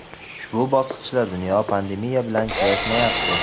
ushbu bosqichda dunyo pandemiya bilan kurashmayapti.